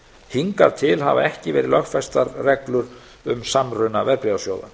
hingað til hafa ekki verið lögfestar reglur um samruna verðbréfasjóða